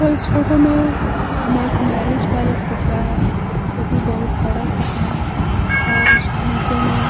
व इस फोटो में हमें एक मैरिज पैलेस दिख रहा है जोकि बहोत बड़ा सा है और उसके नीचे में--